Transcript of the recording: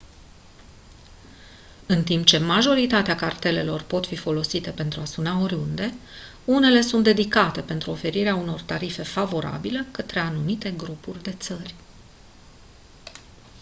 în timp ce majoritatea cartelelor pot fi folosite pentru a suna oriunde unele sunt dedicate pentru oferirea unor tarife favorabile către anumite grupuri de țări